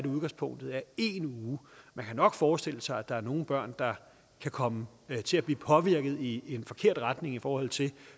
udgangspunktet er en uge man kan nok forestille sig at der er nogle børn der kan komme til at blive påvirket i en forkert retning i forhold til